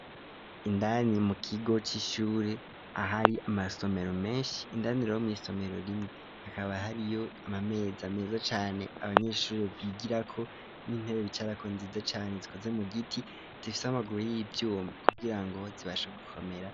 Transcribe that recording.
Indani mukigo c'ishure, ahari amasomero menshi, indani rero mw'isomero rimwe hakaba hariyo amameza meza cane abanyeshure bigirako n'intebe bicarako nziza cane, zikoze mubiti, zifise amaguru y'ivyuma kugira zibashe gukomera.